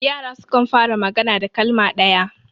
yara sukan fara magana da kalma ɗaya